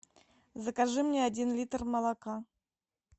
закажи мне один литр молока